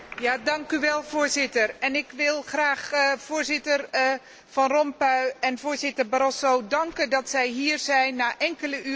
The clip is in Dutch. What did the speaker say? Voorzitter, ik wil graag voorzitter Van Rompuy en voorzitter Barroso danken dat zij hier zijn na enkele uren slaap.